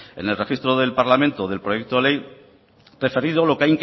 en el registro del parlamento del proyecto de ley referido lo que